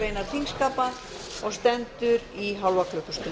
grein þingskapa og stendur í hálfa klukkustund